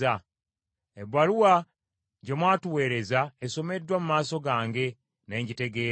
Ebbaluwa gye mwatuweereza esomeddwa mu maaso gange ne ngitegeera.